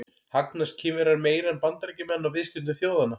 Hagnast Kínverjar meira en Bandaríkjamenn á viðskiptum þjóðanna?